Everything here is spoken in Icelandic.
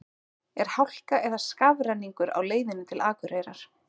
er hálka eða skafrenningur á leiðinni til akureyrar